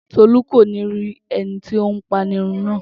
Tolú kò ní rí ẹni tó ń apanirun náà